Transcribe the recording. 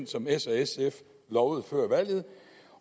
som s og sf lovede før valget